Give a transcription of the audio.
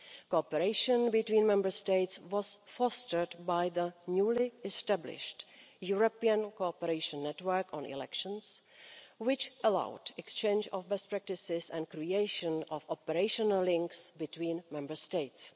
Cooperation between Member States was fostered by the newly established European cooperation network on elections, which allowed exchange of best practices and creation of operational links between Member States.